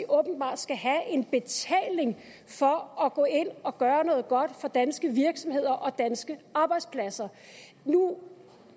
åbenbart skal have en betaling for at gå ind og gøre noget godt for danske virksomheder og danske arbejdspladser nu